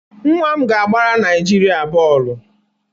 Nwa m ga-agbara Naịjirịa bọọlụ.